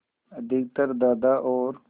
अधिकतर दादा और